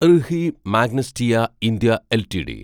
RHI Magnesita India LTD